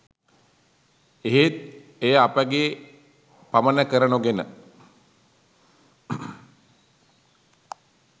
එහෙත් එය අපගේ පමණ කර නොගෙන